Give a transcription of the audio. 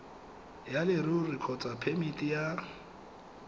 ya leruri kgotsa phemiti ya